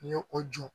N ye o jɔ